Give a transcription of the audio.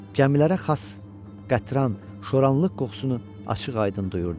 gəmilərə xas qətran, şoranlıq qoxusunu açıq-aydın duyurdu.